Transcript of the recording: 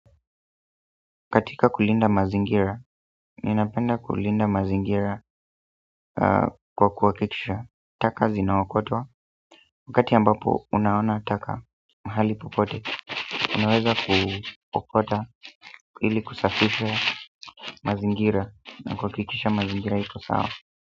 Katika kulinda mazingira, ninapenda kulinda mazingira kwa kuhakikisha taka zinaokotwa, wakati ambapo unaona taka mahali popote unaweza kuokota ili kusafisha mazingira na kuhakikisha mazingira iko sawa.